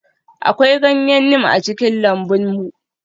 Akwai ganyen neem a cikin lambun mu.